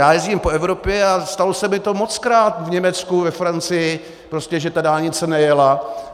Já jezdím po Evropě a stalo se mi to mockrát v Německu, ve Francii, prostě že ta dálnice nejela.